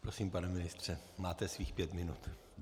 Prosím, pane ministře, máte svých pět minut.